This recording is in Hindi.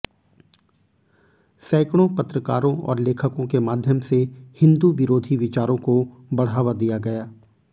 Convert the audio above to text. सैकड़ों पत्रकारों और लेखकों के माध्यम से हिन्दू विरोधी विचारों को बढ़ावा दिया गया